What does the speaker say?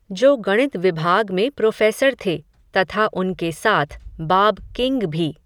जो गणित विभाग में प्रोफ़ेसर थे, तथा उनके साथ, बाब किंग भी